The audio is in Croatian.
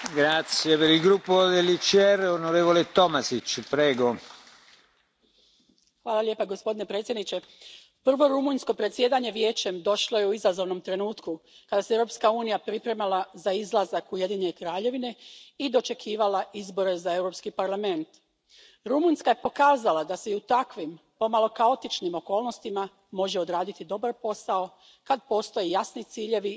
Poštovani predsjedniče, prvo rumunjsko predsjedanje Vijećem došlo je u izazovnom trenutku kada se Europska unija pripremala za izlazak Ujedinjene Kraljevine i dočekivala izbore za Europski parlament. Rumunjska je pokazala da se i u takvim, pomalo kaotičnim okolnostima može odraditi dobar posao kad postoje jasni ciljevi i strategija kako ih ostvariti.